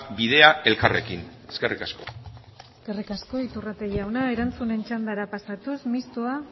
bidea elkarrekin eskerrik asko eskerrik asko iturrate jauna erantzunen txandara pasatuz mistoa